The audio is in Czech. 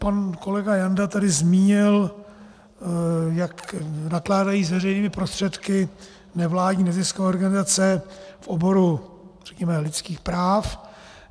Pan kolega Janda tady zmínil, jak nakládají s veřejnými prostředky nevládní neziskové organizace v oboru, řekněme, lidských práv.